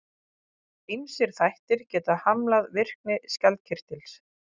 Ýmsir þættir geta hamlað virkni skjaldkirtils.